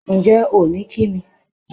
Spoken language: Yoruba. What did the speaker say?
Ǹjẹ́ ò ní kí mi?